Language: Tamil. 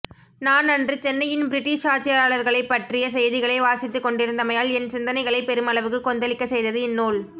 நான் அன்று சென்னையின் பிரிட்டிஷ் ஆட்சியாளர்களைப்பற்றிய செய்திகளை வாசித்துக்கொண்டிருந்தமையால் என் சிந்தனைகளை பெருமளவுக்கு கொந்தளிக்கச்செய்தது இந்நூல்